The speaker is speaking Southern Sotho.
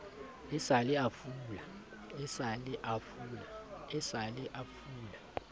e sa le a fula